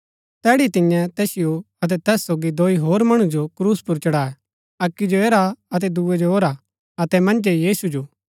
तैड़ी तियें तैसिओ अतै तैस सोगी दोई होर मणु जो क्रूस पुर चढाए अक्की जो ऐरा अतै दूये जो ओरा अतै मन्जै यीशु जो